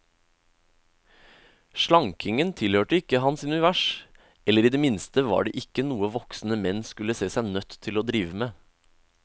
Slankingen tilhørte ikke hans univers, eller i det minste var det ikke noe voksne menn skulle se seg nødt til å drive med.